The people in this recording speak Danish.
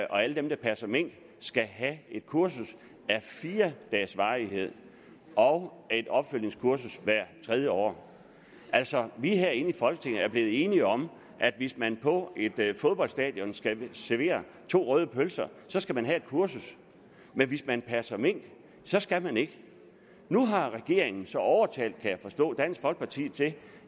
og alle dem der passer mink skal have et kursus af fire dages varighed og et opfølgningskursus hvert tredje år altså vi herinde i folketinget er blevet enige om at hvis man på et fodboldstadion skal servere to røde pølser så skal man have et kursus men hvis man passer mink så skal man ikke nu har regeringen så kan jeg forstå overtalt dansk folkeparti til